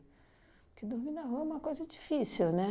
Porque dormir na rua é uma coisa difícil, né?